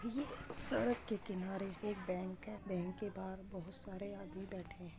ये सड़क के किनारे एक बैंक है बैंक के बाहर बहुत सारे आदमी बैठे हैं।